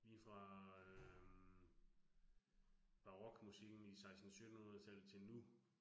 Lige fra øh barokmusikken i 16 syttenhundredetallet til nu